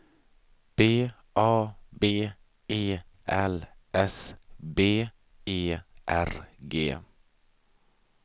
B A B E L S B E R G